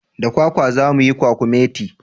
Da kwakwa za muyi kwakumeti